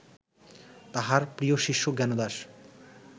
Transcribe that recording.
তাঁহার প্রিয় শিষ্য জ্ঞানদাস